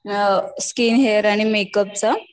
skin hair आणि मेकअपचा